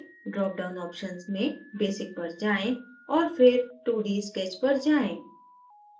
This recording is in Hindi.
drop down options में basic पर जाएँ और फिर 2d sketch पर जाएँ